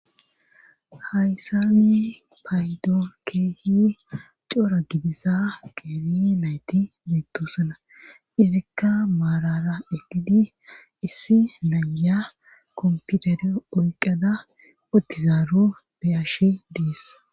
hayssani paydo kehi cora gidiza qeeri nayti mitosana izikka maarara eqidi issi naya kompiutere oyqada otizaaru beyashi diis